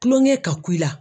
Kulonkɛ ka ku i la.